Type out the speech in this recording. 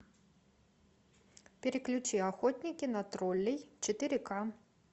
переключи охотники на троллей четыре к